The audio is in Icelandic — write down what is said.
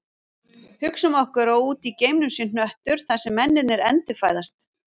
Hugsum okkur að úti í geimnum sé hnöttur þar sem mennirnir endurfæðast